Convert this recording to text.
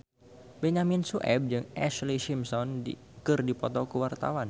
Benyamin Sueb jeung Ashlee Simpson keur dipoto ku wartawan